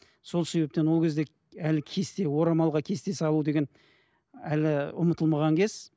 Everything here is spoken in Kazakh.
сол себептен ол кезде әлі кесте орамалға кесте салу деген әлі ұмытылмаған кез